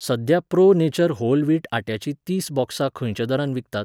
सध्या pro nature whole wheat आट्याची तीस बॉक्सां खंयच्या दरान विकतात?